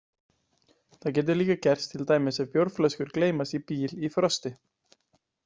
Þetta getur líka gerst til dæmis ef bjórflöskur gleymast í bíl í frosti.